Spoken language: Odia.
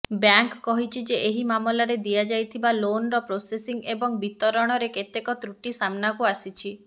ବ୍ୟାଙ୍କ କହିଛି ଯେ ଏହି ମାମଲାରେ ଦିଆଯାଇଥିବା ଲୋନର ପ୍ରୋସେସିଙ୍ଗ ଏବଂ ବିତରଣରେ କେତେକ ତ୍ରୁଟି ସାମ୍ନାକୁ ଆସିଛି